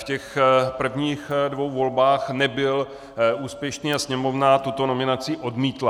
V těch prvních dvou volbách nebyl úspěšný a Sněmovna tuto nominaci odmítla.